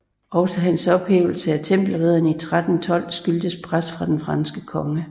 Også hans ophævelse af Tempelridderne i 1312 skyldtes pres fra den franske konge